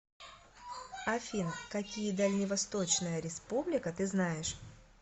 афина какие дальневосточная республика ты знаешь